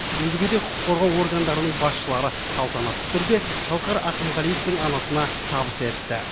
өзге де құқық қорғау органдарының басшылары салтанатты түрде шалқар ақымғалиевтің анасына табыс етті